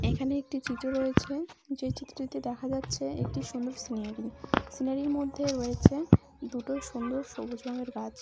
এখানে একটি চিত্র রয়েছে যে চিত্রটিতে দেখা যাচ্ছে একটি সুন্দর সিনারি সিনারি -এর মধ্যে রয়েছে দুটো সুন্দর সবুজ রঙের গাছ।